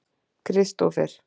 Kristófer